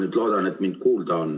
Ma loodan, et mind on kuulda.